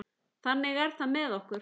Þannig er það með okkur.